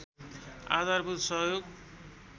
आधारभूत सहयोग